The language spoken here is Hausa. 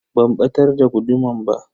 Ban batar da guduman ba.